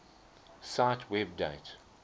cite web date